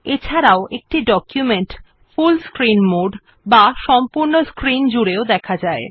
এছাড়াও একটি document full screen mode এ দেখা যায়